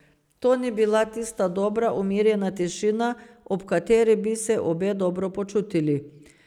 To ni bila tista dobra, umirjena tišina, ob kateri bi se obe dobro počutili.